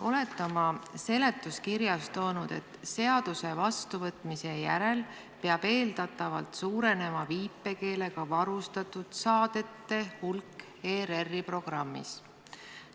Olete seletuskirjas välja toonud, et seaduse vastuvõtmise järel peab eeldatavalt suurenema viipekeelega varustatud saadete hulk ERR-i programmis.